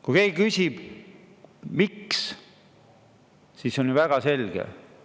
Kui keegi küsib, miks, siis see on ju väga selge.